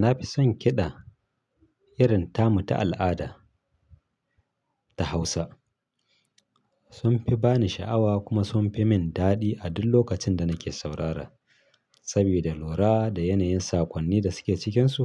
Na fi son kiɗa irin tamu ta al'ada ta Hausa. Sun fi ba ni sha'awa kuma sun fi min daɗi a duk lokacin da nake saurara. Saboda lura da yanayin saƙonni da suke cikinsu,